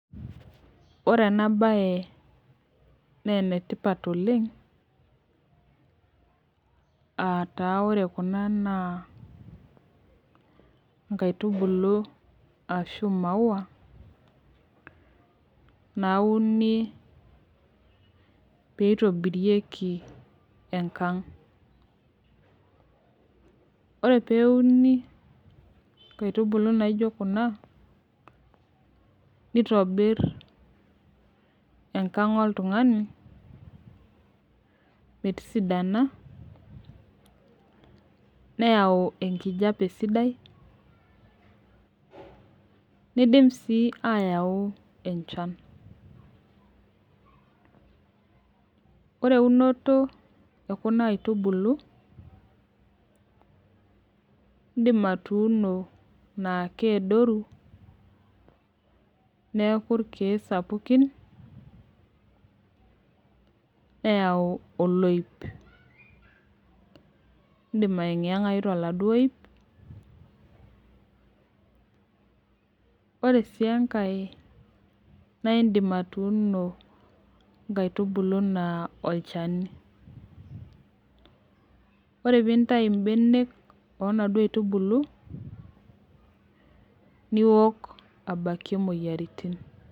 Ore enabae na enetipat oleng ataa ore kuna na nkaitubulu ashu maua nauni pitobirieki enkang ore peuni nkaitubulu nijo kuna nitobir enkang oltungani metisidana neyau enkijape sidai nidim si ayau enchan ore eunoto ekuna aitubulu indim atuuno na keadoru neaku irkiek sapukin neyau oloip indim aengiangae toladuo oip ore enkae na indim atuuno nkaitubulu na olchani ore pintau mbenek onaduo aitubulu niok aokie irkiek.